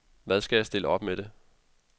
Hvad skal jeg stille op med det.